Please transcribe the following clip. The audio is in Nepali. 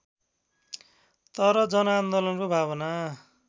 तर जनआन्दोलनको भावना